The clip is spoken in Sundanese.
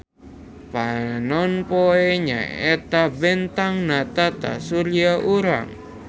Panonpoe nyaeta bentang na tatasurya urang.